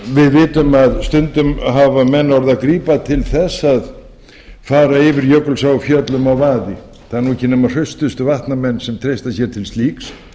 við vitum að stundum hafa menn orðið að grípa til þess að fara yfir jökulsá á fjöllum á vaði það eru ekki nema hraustustu vatnamenn sem treysta sér til slíks